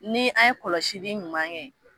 Ni an ye kɔlɔsi ɲuman kɛ.